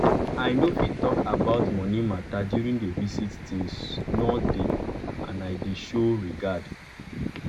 i nor fit talk about moni matter during d visit tins nor deep and i dey show regard